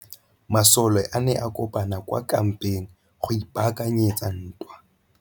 Masole a ne a kopane kwa kampeng go ipaakanyetsa ntwa.